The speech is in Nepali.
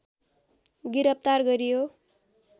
गिरफतार गरियो